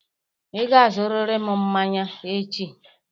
Ị ga-azụrịrị m mmanya echi!